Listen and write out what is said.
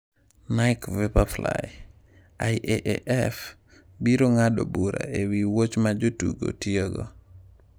Nike Vaporfly: IAAF biro ng'ado bura ewi wuoch ma jotugo tiyogo